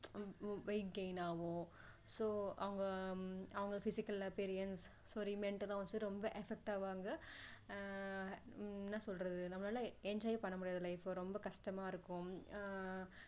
weight gain ஆகும் so அவங்க அவங்க physical appearance sorry mental லா வந்து ரொம்ப affect ஆவாங்க ஆஹ் என்ன சொல்ரது நம்மளால enjoy ஏ பண்ண முடியாது life அ ரொம்ப கஷ்டமா இருக்கும் ஆஹ்